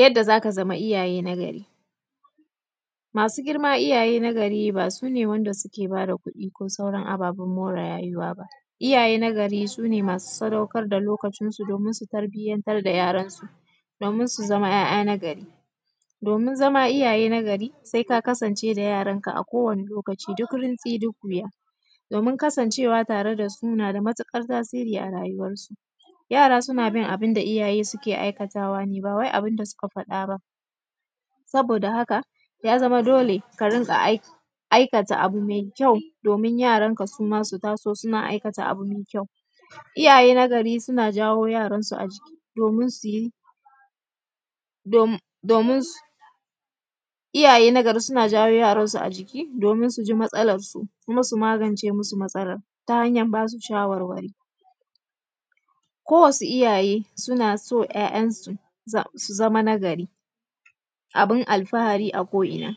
Yadda za ka zama iyaye na gari, masu girma iyaye na gari ba su ne wanda suke bada kuɗi ba ko sauran ababen more rayuwa ba. Iyaye na gari su ne masu sadaukar da lokacin su don su tarbiyatr da ‘ya’yansu domin su zama ‘ya’ya na gari. Domin zama iyaye na gari se ka kasance da ‘ya’yanka akowane lokaci duk rantsi duk wuya, domin kasancewa suna da matuƙar tasiri a rayuwansu, yara suna bin abun da iyaye suke aikatawa ne ba wai abun da suka bada ba. Saboda haka, ya zama dole ka dinga aikata abu mai kyau domin yaranka suma su taso suna aikata abu me kyau, iyaye na gari suna jawo ‘yaransu a jiki domin su yi, domin su iyaye na gari a jiki domin su ji matsalarsu kuma su magance musu matsalar ta hanyan ba su shawarwari ko wasu iyaye suna so ‘ya’yansu su zama na gari abun alfahari a ko’ina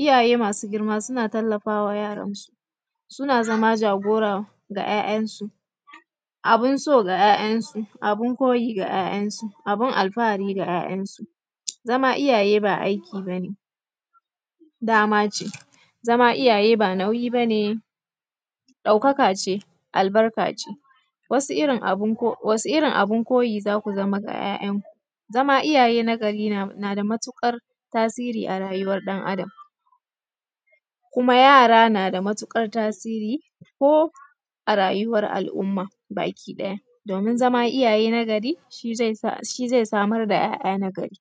iyaye masu girma suna tallafawa ‘ya’yansu, suna zama jagora ga ‘ya’yansu abun so ga ‘ya’yansu, abun koyi ga ‘ya’yansu, abun alfahari ga ‘ya’yansu. Zama iyaye ba aiki ba ne dama ce, zama iyaye ba nauyi ba ne ɗauka ka ce, albarkace wasu irin abun koyi za ku zama ga ‘ya’yanku, zama iyaye na gari nada matuƙar tasiri a rayuwan ɗan Adam kuma yara na da matuƙar tasiri ko a rayuwan al’umma bakiɗaya domin zama na gari shi ze samar da ‘ya’ya nagari.